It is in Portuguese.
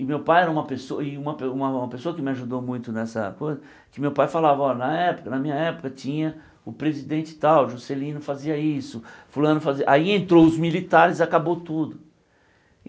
E meu pai era uma pesso e uma pe uma pessoa que me ajudou muito nessa coisa, que meu pai falava, ó, na época, na minha época, tinha o presidente tal, Juscelino fazia isso, fulano fazia... Aí entrou os militares, acabou tudo.